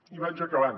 i vaig acabant